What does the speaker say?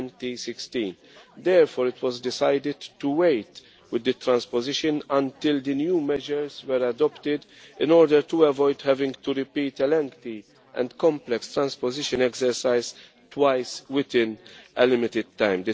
2016. Therefore, it was decided to delay the transposition until the new measures were adopted in order to avoid having to repeat a lengthy and complex transposition exercise twice within a limited time.